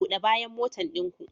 Bude bayan motan ɗin ku.